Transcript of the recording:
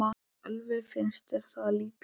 Sölvi: Finnst þér það líklegt?